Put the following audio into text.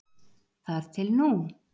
Þar til nú